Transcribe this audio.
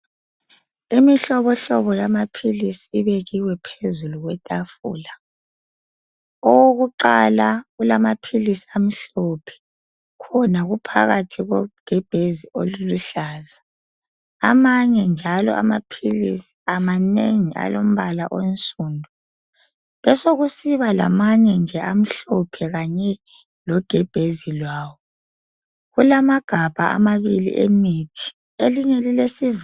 Imihlobohlobo yamaphilisi ibekiwe phezulu kwetafula. Okokuqala kulamaphilisi amhlophe .Khona kuphakathi kogebhezi oluluhlaza. Amanye njalo amaphilisi amanengi alombala onsundu. Besekusiba lamanye nje amhlophe kanye logebhezi lwawo. Kulamagabha amabili emithi. Elinye lilesiva...